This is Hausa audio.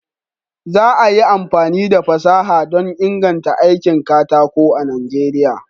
Za a yi amfani da fasaha don inganta aikin katako a Najeriya.